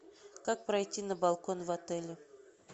как пройти на балкон в отеле